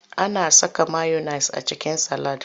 Ana saka mayones a cikin salad.